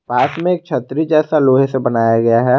पास में एक छतरी जैसा लोहे से बनाया गया है।